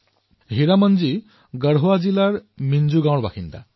হীৰামনজী গঢ়ৱা জিলাৰ সিঞ্জো গাঁৱত বাস কৰে